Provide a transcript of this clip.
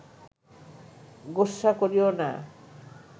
গোস্বা করিও না